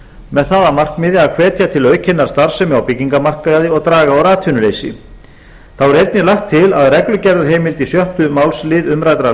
með það að markmiði að hvetja til aukinnar starfsemi á byggingarmarkaði og draga úr atvinnuleysi þá er einnig lagt til að reglugerðarheimild í sjötta málsl umræddrar